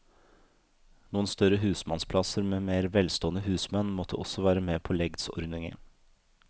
Noen større husmannsplasser med mer velstående husmenn måtte også være med på legdsordningen.